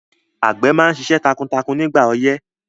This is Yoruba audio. Àgbẹ̀ máa ṣiṣẹ́ takuntakun ní ìgbà ọyẹ́